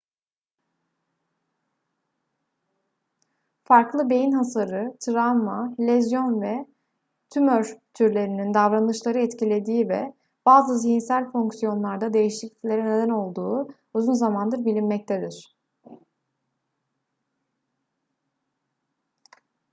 farklı beyin hasarı travma lezyon ve tümör türlerinin davranışları etkilediği ve bazı zihinsel fonksiyonlarda değişikliklere neden olduğu uzun zamandır bilinmektedir